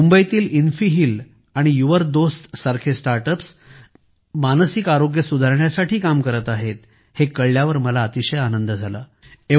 मुंबईतील इन्फिहील आणि यूरडोस्ट सारखे स्टार्टअप्स मानसिक आरोग्य सुधारण्यासाठी काम करत आहेत हे कळल्यावर मला अतिशय आनंद झाला